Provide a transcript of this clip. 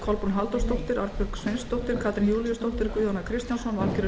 kolbrún halldórsdóttir arnbjörg sveinsdóttir katrín júlíusdóttir guðjón a kristjánsson valgerður